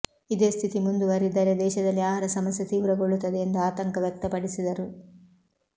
ಇದೇ ಸ್ಥಿತಿ ಮುಂದುವರಿದರೆ ದೇಶದಲ್ಲಿ ಆಹಾರ ಸಮಸ್ಯೆ ತೀವ್ರಗೊಳ್ಳುತ್ತದೆ ಎಂದು ಆತಂಕ ವ್ಯಕ್ತಪಡಿಸಿದರು